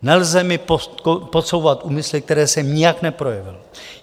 Nelze mi podsouvat úmysly, které jsem nijak neprojevil.